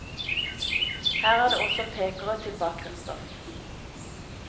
Her er det også pekere til bakgrunnsstoff.